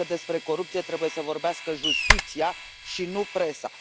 Cred că despre corupție trebuie să vorbească justiția, și nu presa.